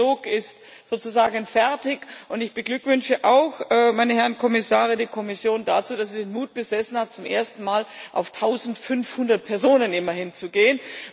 Der Trilog ist sozusagen fertig, und ich beglückwünsche auch, meine Herren Kommissare, die Kommission dazu, dass sie den Mut besessen hat, zum ersten Mal immerhin auf 1500 Personen zu gehen.